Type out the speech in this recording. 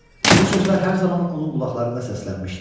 Bu sözlər hər zaman onun qulaqlarında səslənmişdi.